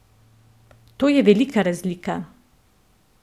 To je velika razlika.